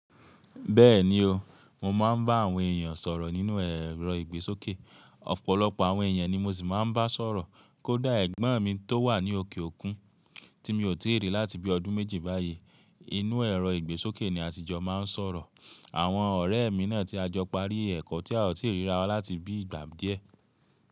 Bẹ́ẹ̀ni o, mo máa ń bá àwọn èèyàn sọ̀rọ̀ nínú ẹ̀rọ ìgbésókè, ọ̀pọ̀lọpọ̀ àwọn èèyàn ni mo sì máa ń bá sọ̀rọ̀ kó dá ẹ̀gbọ́n mi tó wà ní òkè òkun tí mi ò tìí rí láti bí i ọdún méjì báyìí. Inú ẹ̀rọ ìgbésókè ni àtijọ́ máa ń sọ̀rọ̀. Àwọn ọ̀rẹ́ mi náà tí a jọ parí ẹ̀kọ́ tí a ò tìí ríra láti bí i ìgbà díẹ̀